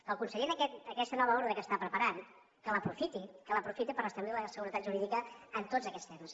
que el conseller aquesta nova ordre que està preparant que l’aprofiti que l’aprofiti per restablir la seguretat jurídica en tots aquests temes